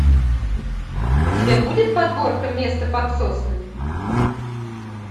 у тебя будет подборка место под соснами